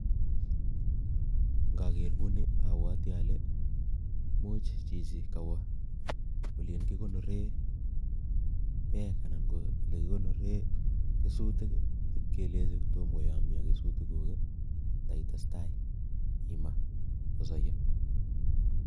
Ngoger guni abwoti ale chichi kawo olin kigonoree beek anan ko ole kigonoree kesutik ii, ibkelechi kotomo koyomyo kesutik ko taitestai imaa koyonyo.